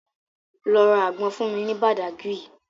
Lọ ra àgbọn fún mi ní Badagry